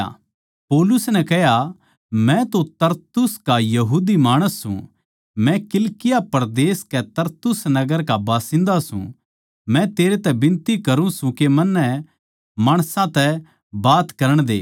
मै तो तरसुस का यहूदी माणस सूं मै किलिकिया परदेस के तरसुस नगर का बासिन्दा सूं मै तेरै तै बिनती करूँ सूं के मन्नै माणसां तै बात करण दे